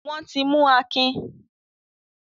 Wọ́n ti mú Akin?